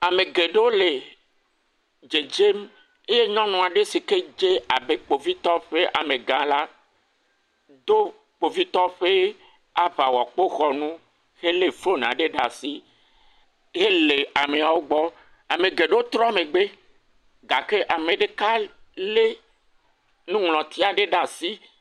Ame geɖewo le dzedzem eye nyɔnu aɖe si dze abe kpovitɔwo ƒe amegã la do kpovitɔ ƒe aŋawɔkpoxɔnu hele foni aɖe ɖe asi hele ameawo gbɔ. Ame geɖewo trɔ megbe gake ame ɖeka lé nuŋlɔti aɖe ɖe asi.